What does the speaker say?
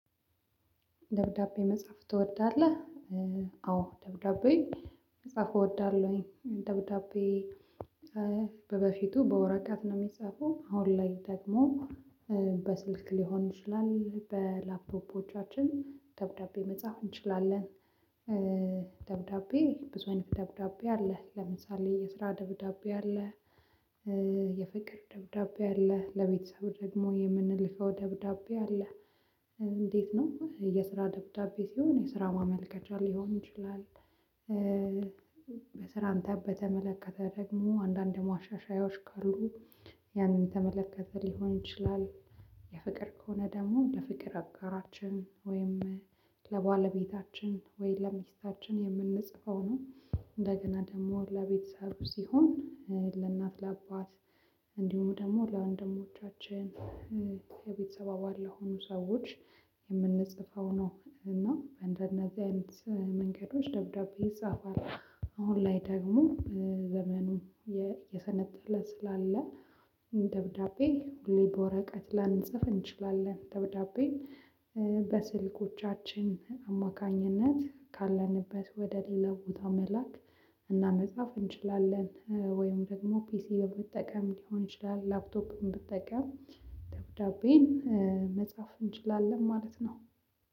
ደብዳቤ መጻፍ ትወዳለህ? አዎ ደብዳቤ መጻፍ እወዳለሁኝ ደብዳቤ በበፊቱ በወረቀት ነው የሚጻፈው አሁን ላይ ደግሞ በስልክ ሊሆን ይችላል በላፕቶፖቻችን ደብዳቤ መጻፍ እንችላለን ብዙ አይነት ደብዳቤ አለ ለምሳሌ የስራ ደብዳቤ አለ የፍቅር ደብዳቤ አለ ለቤተሰብ ደግሞ የምንልከው ደብዳቤ አለ እንዴት ነው የስራ ደብዳቤ ሲሆን የስራ ማመልከቻ ሊሆን ይችላል በስራ አንተ በተመለከተ ደግሞ አንዳንድ ደግሞ ማሻሻያዎች ካሉ ያንን የተመለከተ ሊሆን ይችላል የፍቅር ከሆነ ደግሞ ለፍቅር አጋራችን ወይም ለባለቤታችን ወይ ለሚስታችን የምንጽፈው ነው እንደገና ደግሞ ለቤተሰብ ሲሆን ለእናት ለአባት እንዲሁም ደግሞ ለወንድሞቻችን የቤተሰብ አባል ለሆኑ ሰዎች የምንጽፈው ነው እና እንደነዚህ አይነት መንገዶች ደብዳቤ ይጻፋል አሁን ላይ ደግሞ ዘመኑ እየሰለጠነ ስላለ ደብዳቤ ሁሌ በወረቀት ላንጽፍ እንችላለን ደብዳቤ በስልኮቻችን አማካኝነት ካለንበት ወደ ሌላ ቦታ መላክ እና መጻፍ እንችላለን ወይም ደግሞ ፒሲ በመጠቀም ሊሆን ይችላል ላፕቶፕን ብትጠቀም ደብዳቤን መጻፍ እንችላለን ማለት ነው